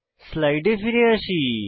স্লাইডে ফিরে যাই